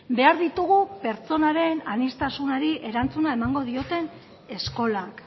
behar ditugu pertsonaren aniztasunari erantzuna emango dioten eskolak